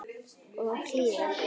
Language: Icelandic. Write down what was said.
Og hlýða.